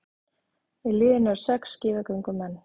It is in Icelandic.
Í liðinu eru sex skíðagöngumenn